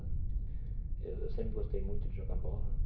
Eu sempre gostei muito de jogar bola.